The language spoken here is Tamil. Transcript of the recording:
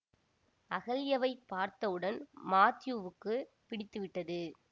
அகல்யவைப் பார்த்தவுடன் மாத்யூவுக்குப் பிடித்து விட்டது